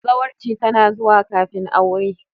Zawarci tana zuwa kafin aure.